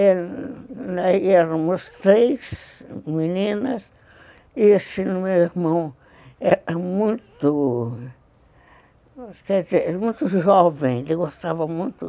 Éramos três meninas e esse meu irmão era muito... quer dizer, jovem, ele gostava muito.